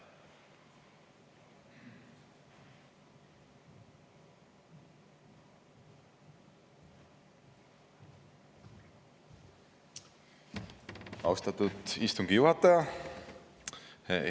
Austatud istungi juhataja!